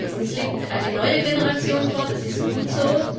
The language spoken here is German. Uns liegt eine neue Generation vor. Das ist gut so.